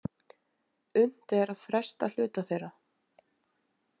Unnt er að fresta hluta þeirra